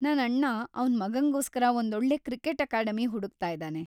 ನನ್‌ ಅಣ್ಣ ಅವ್ನ್‌ ಮಗಂಗೋಸ್ಕರ ಒಂದೊಳ್ಳೆ ಕ್ರಿಕೆಟ್ ಅಕಾಡೆಮಿ ಹುಡುಕ್ತಾ ಇದಾನೆ.